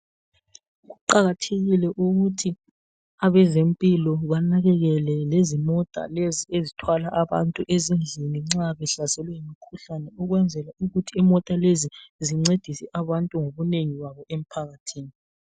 Kuqakathekile ukuthi abezempilo banakekele lezimota lezi ezithwala abantu ezindlini nxa behlaselwe yimikhuhlane ukwenzela imota lezi zincedise abantu ngobunengi babo emphakathini.